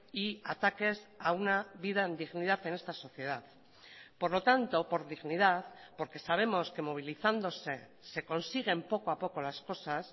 y ataques a una vida en dignidad en esta sociedad por lo tanto por dignidad porque sabemos que movilizándose se consiguen poco a poco las cosas